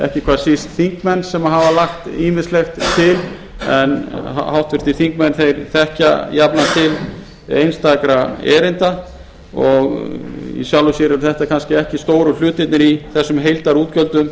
ekki hvað síst þingmenn sem hafa lagt ýmislegt til en háttvirtir þingmenn þekkja jafnframt til einstakra erinda og í sjálfu sér eru þetta kannski ekki stóru hlutirnir í þessum heildarútgjöldum